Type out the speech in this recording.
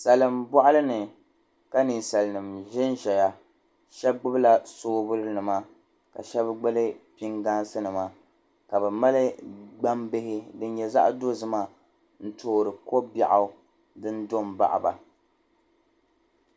salima bohili ni ka salinima ʒen Ʒiya shab gbubi la soobil nima ka shab gbubi pingaansi nima ka bi mali gban bihi din nye zaɣ'dozima n toori ko biɛɣu din do baɣiba